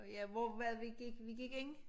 Ja hvor var det vi gik vi gik ind?